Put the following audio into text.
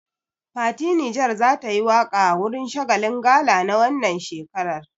Fati Niger za tayi waƙa a wurin shagalin gala na wannan shekaran.